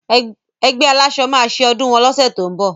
Ẹgbẹ́ aláṣọ máa ọdún wọn lóṣẹ̀ tó ń bọ̀.